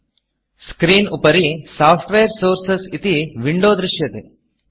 screen उपरि software Sourcresसोफ़्ट्वेर् sources इति Windowविण्डो दृश्यते